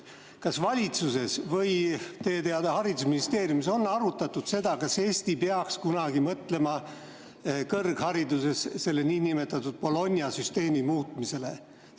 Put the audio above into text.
Kas valitsuses või haridusministeeriumis on arutatud seda, kas Eesti peaks kunagi mõtlema kõrghariduses Bologna süsteemi muutmisele?